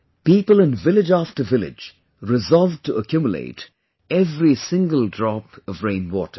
People in village after village resolved to accumulate every single drop of rainwater